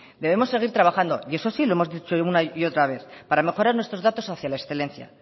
debemos seguir trabajando y eso sí lo hemos dicho una y otra vez para mejorar nuestros datos hacia la excelencia